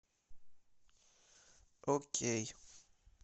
окей